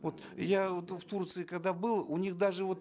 вот я вот в турции когда был у них даже вот